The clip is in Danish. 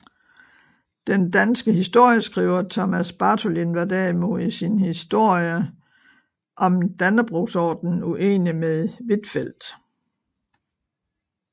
Den senere danske historieskriver Thomas Bartholin var derimod i sin historie om Dannebrogsordenen uenig med Huitfeldt